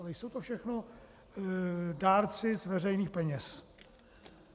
Ale jsou to všechno dárci z veřejných peněz.